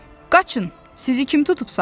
Qaçın, sizi kim tutub saxlayır?